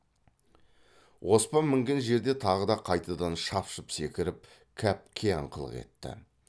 оспан мінген жерде тағы да қайтадан шапшып секіріп кәп қияңқылық етті